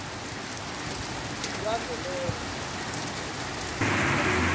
lwavelonkhe